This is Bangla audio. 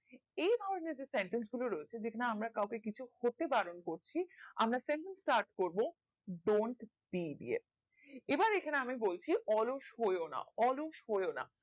এই ধরণের যে sentence গুলো যেখানে আমরা কাও কে কিছু করতে পারণ করছি আমার start করবো don't period এবার আমি এখানে বলছি অলস হয়না অলস হয়না